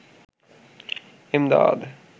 Emdad